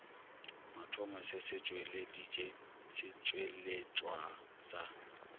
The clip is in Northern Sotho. mathomo se tšweleditše setšweletšwa sa